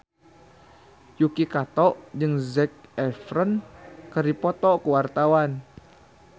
Yuki Kato jeung Zac Efron keur dipoto ku wartawan